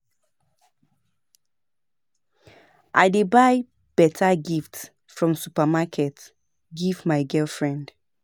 I dey buy beta gift from supermarket give my girlfriend.